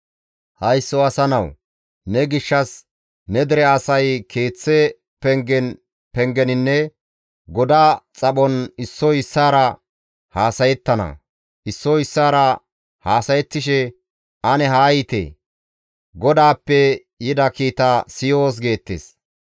«Haysso asa nawu! Ne gishshas ne dere asay keeththa pengen pengeninne goda xaphon issoy issaara haasayettana; issoy issaara haasayettishe, ‹Ane haa yiite; GODAAPPE yida kiita siyoos› geettes.